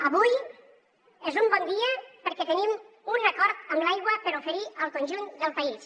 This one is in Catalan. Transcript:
avui és un bon dia perquè tenim un acord amb l’aigua per oferir al conjunt del país